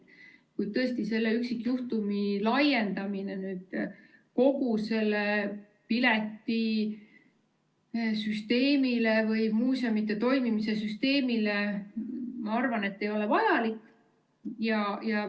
Kuid tõesti selle üksikjuhtumi laiendamine kogu piletisüsteemile või muuseumide toimimise süsteemile, ma arvan, ei ole vajalik.